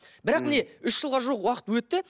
бірақ міне үш жылға жуық уақыт өтті